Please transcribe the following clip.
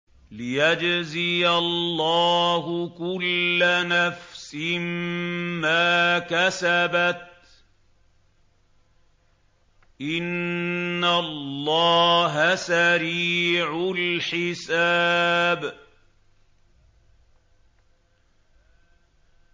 لِيَجْزِيَ اللَّهُ كُلَّ نَفْسٍ مَّا كَسَبَتْ ۚ إِنَّ اللَّهَ سَرِيعُ الْحِسَابِ